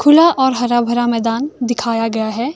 खुला और हरा भरा मैदान दिखाया गया है।